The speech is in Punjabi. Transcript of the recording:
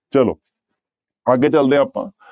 ਚਲੋ ਅੱਗੇ ਚੱਲਦੇ ਹਾਂ ਆਪਾਂ।